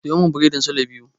Siyo min biredin sule biyu.